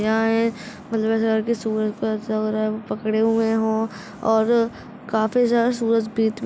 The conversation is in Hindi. पकड़े हुए हों और काफी सूरज --